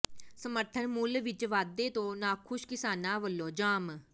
ਸਮਰਥਨ ਮੁੱਲ ਵਿੱਚ ਵਾਧੇ ਤੋਂ ਨਾਖੁਸ਼ ਕਿਸਾਨਾਂ ਵੱਲੋਂ ਜਾਮ